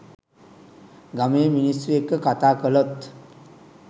ගමේ මිනිස්‌සු එක්‌ක කතා කළොත්